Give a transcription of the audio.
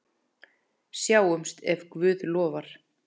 Sjáumst ef Guð lofar.